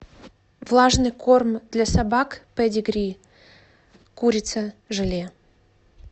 влажный корм для собак педигри курица желе